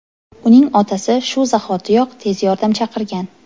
Uning otasi shu zahotiyoq tez yordam chaqirgan.